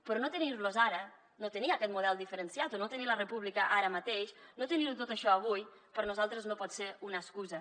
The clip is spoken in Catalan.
però no tenir los ara no tenir aquest model diferenciat o no tenir la república ara mateix no tenir ho tot això avui per a nosaltres no pot ser una excusa